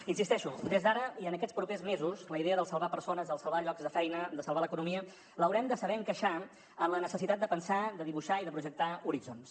hi insisteixo des d’ara i en aquests propers mesos la idea del salvar persones del salvar llocs de feina de salvar l’economia l’haurem de saber encaixar en la necessitat de pensar de dibuixar i de projectar horitzons